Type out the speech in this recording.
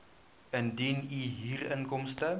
indien u huurinkomste